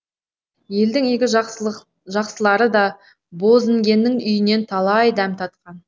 елдің игі жақсылары да бозінгеннің үйінен талай дәм татқан